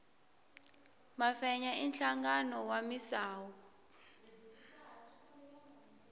mafenya i nhlangano wa misawu